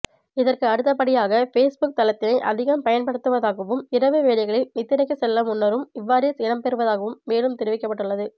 இதற்கு அடுத்தபடியாக பேஸ்புக் தளத்தினை அதிகம் பயன்படுத்துவதாகவும் இரவு வேளைகளில் நித்திரைக்கு செல்ல முன்னரும் இவ்வாறே இடம்பெறுவதாகவும் மேலும் தெரிவிக்கப்பட்டுள்ளது